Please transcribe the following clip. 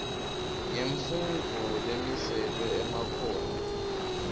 yemfundvo lemiselwe emakhono